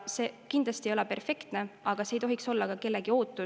Ta kindlasti ei ole perfektne, aga see ei tohiks olla ka kellegi ootus.